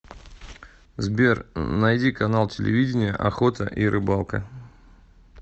сбер найди канал телевидения охота и рыбалка